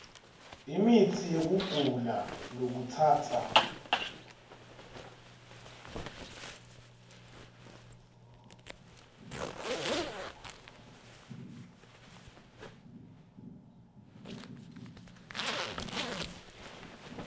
imitsi yekugula lokutsatsa